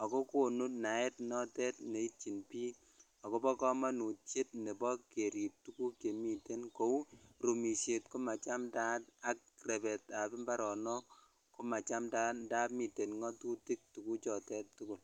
ak ko konu naet notet netyin biik akobo komonutiet nebo kerib tukuk chemiten kouu rumishet ko machamndaat ak rebetab mbaronok komachamndaat ndamun miten ng'otutik tukuchotet tukul.